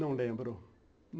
Não lembro.